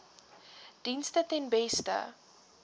dienste ten beste